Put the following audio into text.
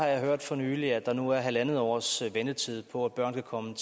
jeg har hørt for nylig at der nu er halvandet års ventetid på at børn kan komme